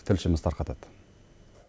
тілшіміз тарқатады